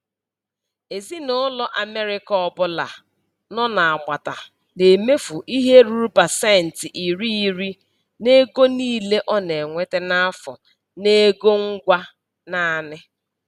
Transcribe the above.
Ezinụlọ Amerịka ọbụla nọ n'agbata na-emefu ihe ruru pasenti iri iri n'ego niile ọ na-enweta n'afọ n'ego ngwa naanị.